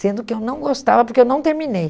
Sendo que eu não gostava, porque eu não terminei.